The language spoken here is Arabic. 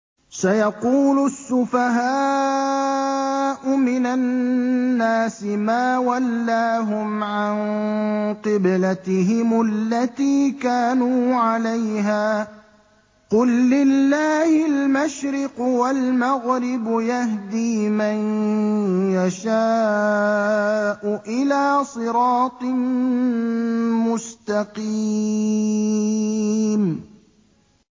۞ سَيَقُولُ السُّفَهَاءُ مِنَ النَّاسِ مَا وَلَّاهُمْ عَن قِبْلَتِهِمُ الَّتِي كَانُوا عَلَيْهَا ۚ قُل لِّلَّهِ الْمَشْرِقُ وَالْمَغْرِبُ ۚ يَهْدِي مَن يَشَاءُ إِلَىٰ صِرَاطٍ مُّسْتَقِيمٍ